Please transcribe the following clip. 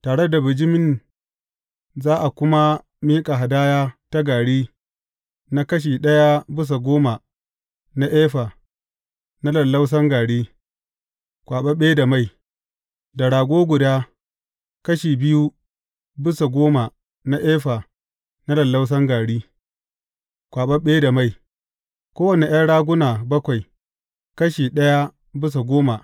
Tare da bijimin za a kuma miƙa hadaya ta gari na kashi ɗaya bisa goma na efa na lallausan gari, kwaɓaɓɓe da mai; da rago guda, kashi biyu bisa goma na efa na lallausan gari, kwaɓaɓɓe da mai; kowane ’yan raguna bakwai, kashi ɗaya bisa goma.